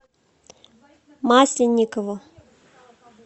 масленникову